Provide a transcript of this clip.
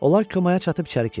Onlar komaya çatıb içəri keçdilər.